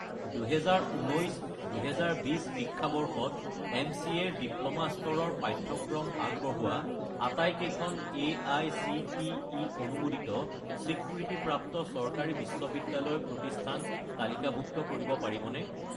2019 - 2020 শিক্ষাবৰ্ষত এম.চি.এ. ৰ ডিপ্ল'মা স্তৰৰ পাঠ্যক্ৰম আগবঢ়োৱা আটাইকেইখন এআইচিটিই অনুমোদিত স্বীকৃতিপ্ৰাপ্ত চৰকাৰী বিশ্ববিদ্যালয় প্ৰতিষ্ঠান তালিকাভুক্ত কৰিব পাৰিবনে?